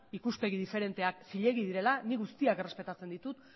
ikuspegi diferenteak zilegi direla nik guztiak errespetatzen ditut